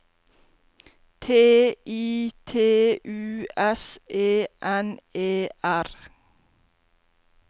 T I T U S E N E R